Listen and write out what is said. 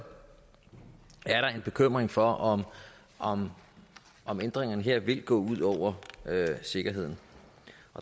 er der en bekymring for om om ændringerne her vil gå ud over sikkerheden